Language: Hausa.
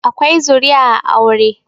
akwai zuriya a aure